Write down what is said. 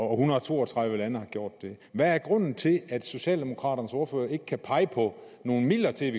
hundrede og to og tredive lande har gjort hvad er grunden til at socialdemokraternes ordfører ikke kan pege på nogle midler til